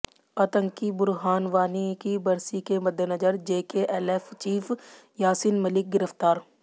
आतंकी बुरहान वानी की बरसी के मद्देनजर जेकेएलएफ चीफ यासीन मलिक गिरफ्तार